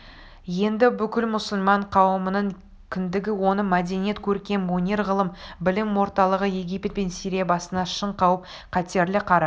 енді бүкіл мұсылман қауымының кіндігі оның мәдениет көркем өнер ғылым-білім орталығы египет пен сирия басына шын қауіп-қатерлі қара